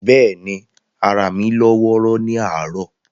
But ni, ara mi lọ́ wọ́ọ́rọ́wọ́ ni àárọ̀.